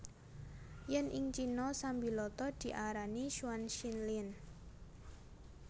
Yèn ing Cina sambiloto diarani chuan xin lien